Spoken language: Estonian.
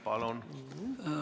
Palun!